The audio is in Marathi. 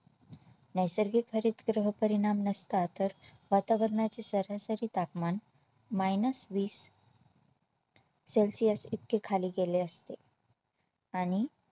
नैसर्गिक हरितगृह परिणाम नसता तर वातावरणाची सरासरी तापमान Minus वीस celsius इतके खाली गेले असते आणि